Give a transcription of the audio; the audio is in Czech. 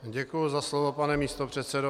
Děkuji za slovo, pane místopředsedo.